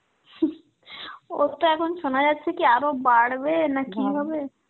ওর তো এখন শোনা যাচ্ছে কি আরো বাড়বে না কি হবে.